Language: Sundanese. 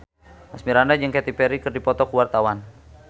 Asmirandah jeung Katy Perry keur dipoto ku wartawan